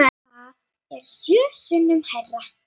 Það er sjö sinnum hærra.